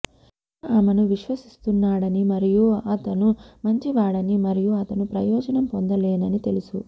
Helena ఆమెను విశ్వసిస్తున్నాడని మరియు అతను మంచివాడని మరియు అతను ప్రయోజనం పొందలేనని తెలుసు